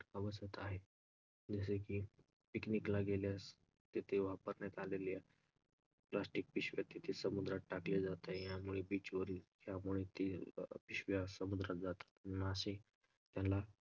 बसत आहे. Picnic picnic ला गेलं तर तिथे वापरण्यात आलेली आहे plastic पिशव्या तिथे समुद्रात टाकले जात आहे यामुळे beach वरून